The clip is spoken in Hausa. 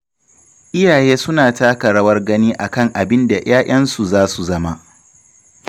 Iyaye suna taka rawar gani a kan abin da 'ya'yansu za su zama.